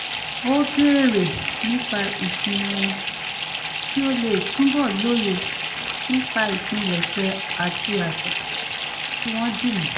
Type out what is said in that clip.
ó béèrè nípa ìsinmi wọn kí ó lè túbọ̀ lóye nípa ìpilẹ̀ṣẹ̀ àti àṣà tí wọ́n dí mú